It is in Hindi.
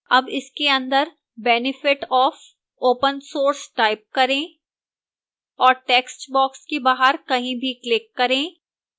अब इसके अंदर benefit of open source type करें और textbox के बाहर कहीं भी click करें